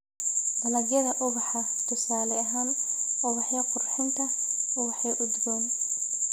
Dalagyada ubaxa: tusaale ahaan, ubaxyo qurxinta, ubaxyo udgoon.